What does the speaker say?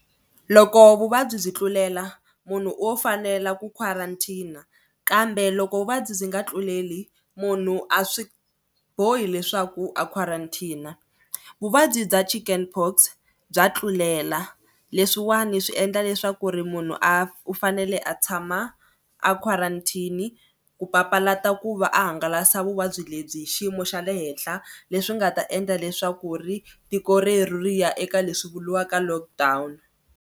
Loko vuvabyi byi tlulela munhu o fanela ku quarantine kambe loko vuvabyi byi nga tluleli munhu a swi bohi leswaku a quarantine. Vuvabyi bya chicken pox bya tlulela leswiwani swi endla leswaku ri munhu a u fanele a tshama a quarantine ku papalata ku va a hangalasa vuvabyi lebyi hi xiyimo xa le henhla leswi nga ta endla leswaku ri tiko rero ri ya eka leswi vuriwaka lockdown.